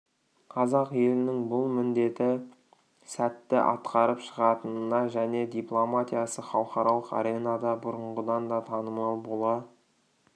қазақ елінің бұл міндетті сәтті атқарып шығатынына және дипломатиясы халықаралық аренада бұрынғыдан да танымал бола